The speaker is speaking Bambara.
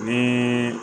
Ni